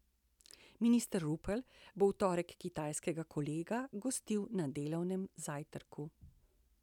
Minister Rupel bo v torek kitajskega kolega gostil na delovnem zajtrku.